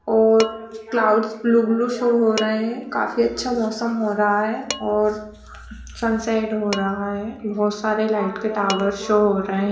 और clouds blue blue show हो रहा है। काफी अच्छा मौसम हो रहा है और सनसेट हो रहा है। बहुत सारे लाइट के टॉवर शो हो रहे।